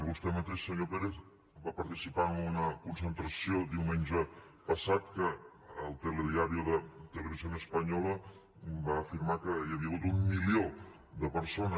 vostè mateix senyor pérez va participar en una concentració diumenge passat que el telediario de televisión española va afirmar que hi havia hagut un milió de persones